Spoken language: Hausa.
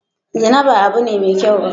Zina ba abun ne mai kyau ba